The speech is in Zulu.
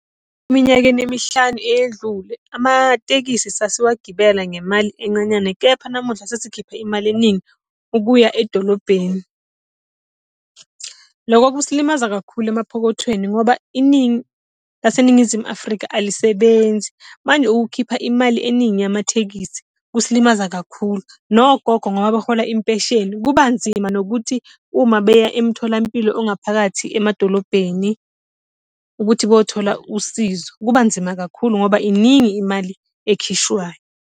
Iminyaka emihlanu edlule amatekisi sasiwagibela ngemali enqanyana kepha namuhla sesikhipha imali eningi ukuya edolobheni. Loko kusilimaza kakhulu emaphokothweni ngoba iningi laseNingizimu Afrika alisebenzi. Manje ukukhipha imali eningi yamathekisi kusilimaza kakhulu. Nogogo ngoba barhola impesheni kuba nzima nokuthi uma beya emtholampilo ongaphakathi emadolobheni ukuthi bothola usizo. Kuba nzima kakhulu ngoba iningi imali ekhishwayo.